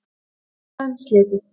Viðræðum slitið